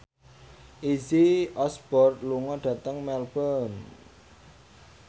Izzy Osborne lunga dhateng Melbourne